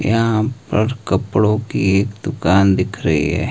यहां पर कपड़ों की एक दुकान दिख रही है।